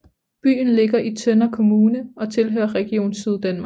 Byen ligger i Tønder Kommune og tilhører Region Syddanmark